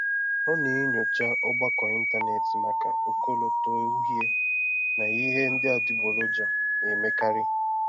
Ọ na-enyocha ọgbakọ ịntanetị maka ọkọlọtọ uhie na ihe ndị adịgboroja na-emekarị.